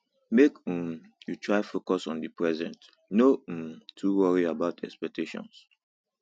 make um you try focus on di present no um too worry about expectations